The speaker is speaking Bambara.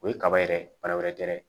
O ye kaba yɛrɛ ye bana wɛrɛ tɛ dɛ